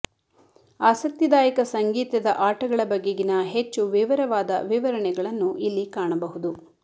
ಆಸಕ್ತಿದಾಯಕ ಸಂಗೀತದ ಆಟಗಳ ಬಗೆಗಿನ ಹೆಚ್ಚು ವಿವರವಾದ ವಿವರಣೆಗಳನ್ನು ಇಲ್ಲಿ ಕಾಣಬಹುದು